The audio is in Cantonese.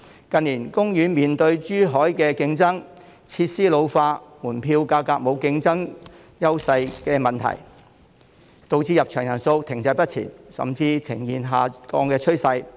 近年，海洋公園面對來自珠海的競爭、設施老化、門票價格沒有競爭優勢等問題，導致入場人數停滯不前，甚至呈現下降的趨勢。